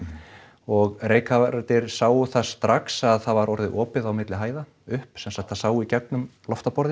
og reykkafarar þeir sáu það strax að það var orðið opið á milli hæða upp sem sagt það sá í gegnum